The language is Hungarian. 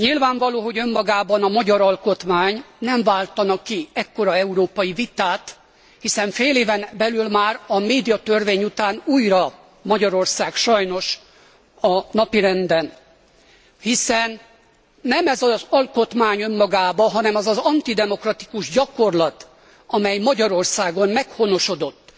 Nyilvánvaló, hogy önmagában a magyar alkotmány nem váltana ki ekkora európai vitát, hiszen fél éven belül már a médiatörvény után újra Magyarország sajnos a napirenden, hiszen nem ez az alkotmány önmagában, hanem az az antidemokratikus gyakorlat, amely Magyarországon meghonosodott